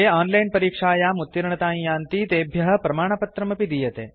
ये ओनलाइन् परीक्षायाम् उत्तीर्णतां यान्ति तेभ्य प्रमाणपत्रमपि दीयते